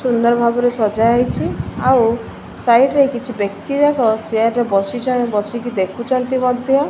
ସୁନ୍ଦର ଭାବରେ ସଜାହେଇଛି ଆଉ ସାଇଡ ରେ କିଛି ବ୍ୟକ୍ତି ଯାକ ଚେୟାର ରେ ବସିଛ ବସିକି ଦେଖୁଛନ୍ତି ମଧ୍ୟ ।